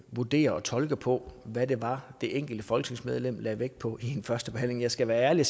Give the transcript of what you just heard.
vurdere og tolke på hvad det var det enkelte folketingsmedlem lagde vægt på ved en førstebehandling jeg skal være ærlig